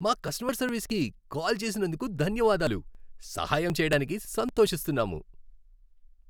మా కస్టమర్ సర్వీస్కి కాల్ చేసినందుకు ధన్యవాదాలు. సహాయం చేయడానికి సంతోషిస్తున్నాము.